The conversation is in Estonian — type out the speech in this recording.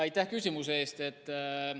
Aitäh küsimuse eest!